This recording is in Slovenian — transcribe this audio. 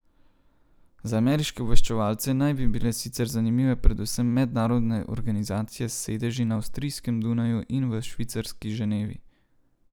Za ameriške obveščevalce naj bi bile sicer zanimive predvsem mednarodne organizacije s sedeži na avstrijskem Dunaju in v švicarski Ženevi.